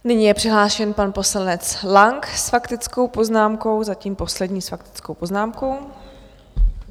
Nyní je přihlášen pan poslanec Lang s faktickou poznámkou, zatím poslední s faktickou poznámkou.